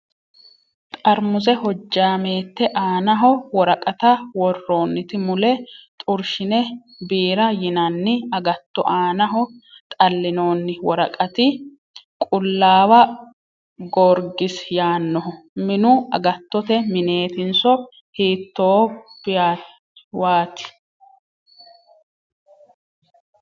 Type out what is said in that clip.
Xarmuse hojjaameette aanaho woraqatta worroonniti mule xorshine biira yinanni agatto aanaho xallinoonni woraqati qullaawa goorgisi yaannoho. Minu agattote mineetinso hiittopwaati ?